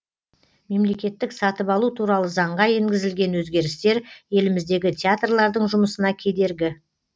мемлекеттік сатып алу туралы заңға енгізілген өзгерістер еліміздегі театрлардың жұмысына кедергі